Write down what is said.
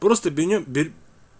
просто бене бер